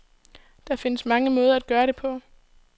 Der findes mange måder at gøre det på.